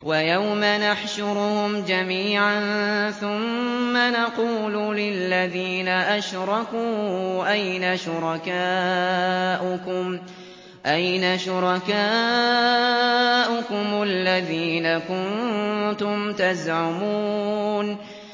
وَيَوْمَ نَحْشُرُهُمْ جَمِيعًا ثُمَّ نَقُولُ لِلَّذِينَ أَشْرَكُوا أَيْنَ شُرَكَاؤُكُمُ الَّذِينَ كُنتُمْ تَزْعُمُونَ